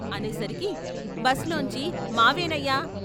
"అనేసరికి బస్ లోంచి" మావేనయ్యా?